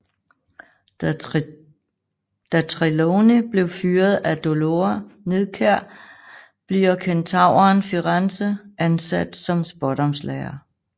Da Trelawney bliver fyret af Dolora Nidkjær bliver kentauren Firenze ansat som Spådomslærer